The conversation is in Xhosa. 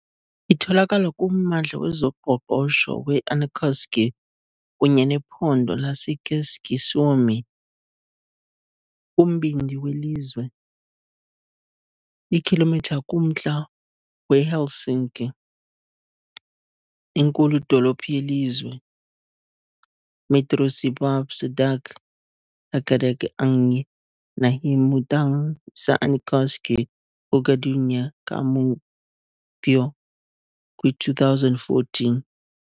Itholakala kummandla wezoqoqosho we- Äänekoski kunye nephondo laseKeski-Suomi, kumbindi welizwe, iikhilomitha kumntla weHelsinki, inkulu-dolophu yelizwe.